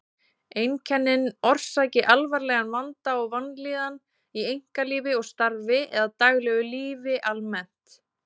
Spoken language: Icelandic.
Einkennin orsaki alvarlegan vanda og vanlíðan í einkalífi og starfi eða daglegu lífi almennt.